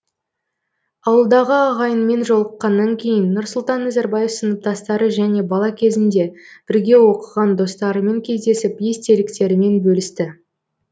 ауылдағы ағайынмен жолыққаннан кейін нұрсұлтан назарбаев сыныптастары және бала кезінде бірге оқыған достарымен кездесіп естеліктерімен бөлісті